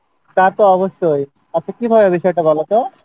তা তো অবশ্যই আচ্ছা কীভাবে বিষয়টা বলো তো?